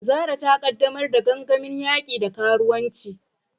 Zarah, ƙaddamar da gangamin yaki da karuwanci.